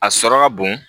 A sɔrɔ ka bon